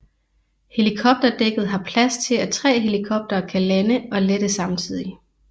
Helikopterdækket har plads til at tre helikoptere kan lande og lette samtidig